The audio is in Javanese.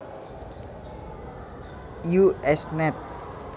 U S Nat